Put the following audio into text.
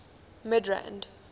midrand